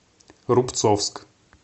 рубцовск